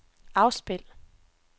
afspil